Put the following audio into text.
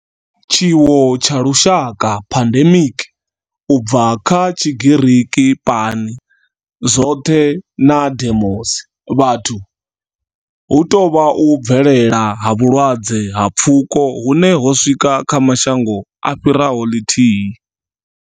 Tshiwo tsha lushaka pandemic, u bva kha Tshigiriki pan, zwothe na demos, vhathu, hu tou vha u bvelela ha vhulwadze ha pfuko hune ho swika kha mashango a fhiraho ḽithihi.